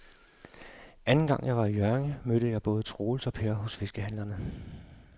Anden gang jeg var i Hjørring, mødte jeg både Troels og Per hos fiskehandlerne.